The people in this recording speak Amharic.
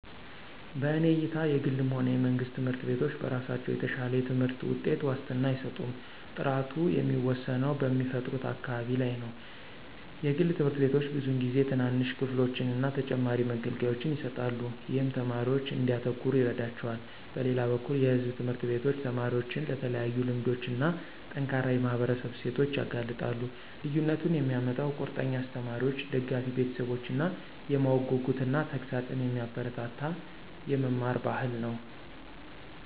በእኔ እይታ የግልም ሆነ የመንግስት ትምህርት ቤቶች በራሳቸው የተሻለ የትምህርት ውጤት ዋስትና አይሰጡም። ጥራቱ የሚወሰነው በሚፈጥሩት አካባቢ ላይ ነው. የግል ትምህርት ቤቶች ብዙውን ጊዜ ትናንሽ ክፍሎችን እና ተጨማሪ መገልገያዎችን ይሰጣሉ, ይህም ተማሪዎች እንዲያተኩሩ ይረዳቸዋል. በሌላ በኩል የሕዝብ ትምህርት ቤቶች ተማሪዎችን ለተለያዩ ልምዶች እና ጠንካራ የማህበረሰብ እሴቶች ያጋልጣሉ። ልዩነቱን የሚያመጣው ቁርጠኛ አስተማሪዎች፣ ደጋፊ ቤተሰቦች እና የማወቅ ጉጉትን እና ተግሣጽን የሚያበረታታ የመማር ባህል ነው።